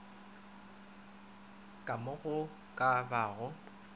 ka mo go ka bago